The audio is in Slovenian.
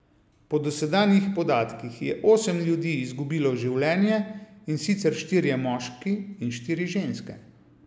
Po dosedanjih podatkih je osem ljudi izgubilo življenje, in sicer štirje moški in štiri ženske.